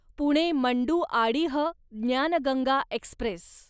Pune Manduadih Gyan Ganga Express